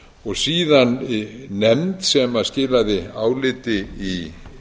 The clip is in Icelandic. og síðan nefnd sem skilaði áliti í